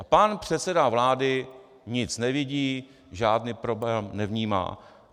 A pan předseda vlády nic nevidí, žádný problém nevnímá.